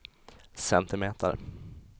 centimeter